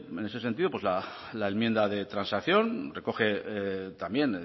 en ese sentido pues la enmienda de transacción recoge también